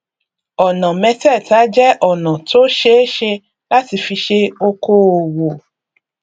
ọnà mẹtẹẹta jẹ ọnà tó ṣeé ṣe láti fi ṣe okoòwò